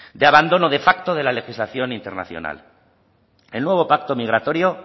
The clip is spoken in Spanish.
de abandono de facto de la legislación internacional el nuevo pacto migratorio